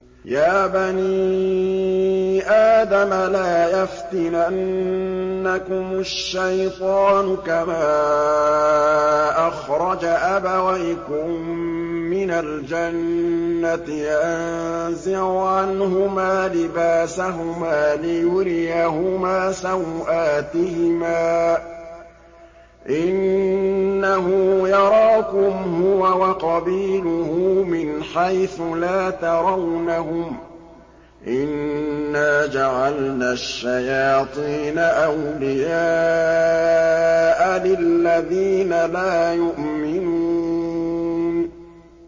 يَا بَنِي آدَمَ لَا يَفْتِنَنَّكُمُ الشَّيْطَانُ كَمَا أَخْرَجَ أَبَوَيْكُم مِّنَ الْجَنَّةِ يَنزِعُ عَنْهُمَا لِبَاسَهُمَا لِيُرِيَهُمَا سَوْآتِهِمَا ۗ إِنَّهُ يَرَاكُمْ هُوَ وَقَبِيلُهُ مِنْ حَيْثُ لَا تَرَوْنَهُمْ ۗ إِنَّا جَعَلْنَا الشَّيَاطِينَ أَوْلِيَاءَ لِلَّذِينَ لَا يُؤْمِنُونَ